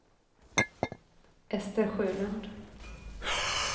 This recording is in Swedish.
Ester Sjölund